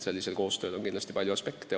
Sellisel koostööl on palju aspekte.